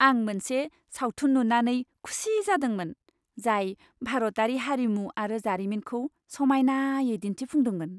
आं मोनसे सावथुन नुनानै खुसि जादोंमोन जाय भारतारि हारिमु आरो जारिमिनखौ समायनायै दिन्थिफुंदोंमोन।